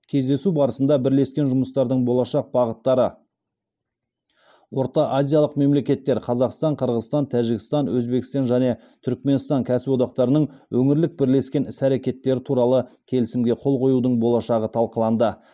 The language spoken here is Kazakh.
кездесу барысында бірлескен жұмыстардың болашақ бағыттары ортаазиялық мемлекеттер кәсіподақтарының өңірлік бірлескен іс әрекеттері туралы келісімге қол қоюдың болашағы талқыланды